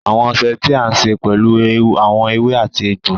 Awọn ọṣẹ̀ tí a ṣè pẹ̀lú awọn èwè àti ègbò.